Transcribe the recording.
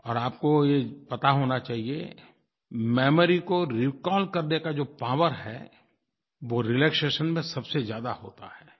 और आपको ये पता होना चाहिए मेमोरी को रिकॉल करने का जो पॉवर है वो रिलैक्सेशन में सबसे ज़्यादा होता है